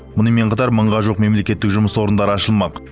мұнымен қатар мыңға жуық мемлекеттік жұмыс орындары ашылмақ